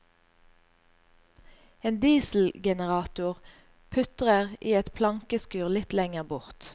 En dieselgenerator putrer i et plankeskur litt lenger bort.